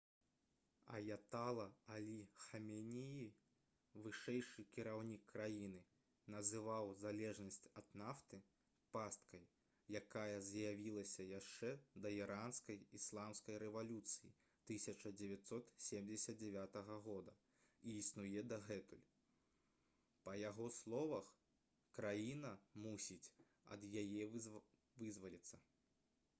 аятала алі хаменеі вышэйшы кіраўнік краіны называў залежнасць ад нафты «пасткай» якая з'явілася яшчэ да іранскай ісламскай рэвалюцыі 1979 года і існуе дагэтуль. па яго словах краіна мусіць ад яе вызваліцца